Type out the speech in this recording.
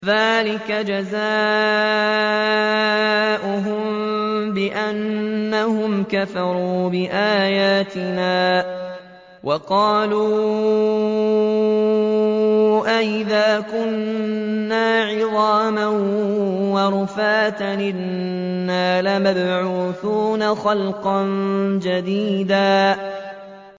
ذَٰلِكَ جَزَاؤُهُم بِأَنَّهُمْ كَفَرُوا بِآيَاتِنَا وَقَالُوا أَإِذَا كُنَّا عِظَامًا وَرُفَاتًا أَإِنَّا لَمَبْعُوثُونَ خَلْقًا جَدِيدًا